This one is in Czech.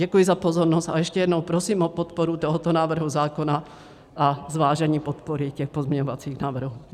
Děkuji za pozornost a ještě jednou prosím o podporu tohoto návrhu zákona a zvážení podpory těch pozměňovacích návrhů.